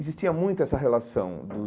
Existia muito essa relação dos